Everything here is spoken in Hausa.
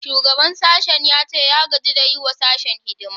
Shugaban sashen ya ce ya gaji da yi wa sashen hidima